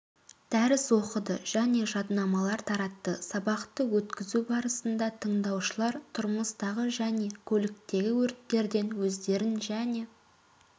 дәріс оқыды және жаднамалар таратты сабақты өткізу барысында тыңдаушылар тұрмыстағы және көліктегі өрттерден өздерін және